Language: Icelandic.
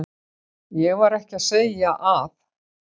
Ég var ekki að segja að.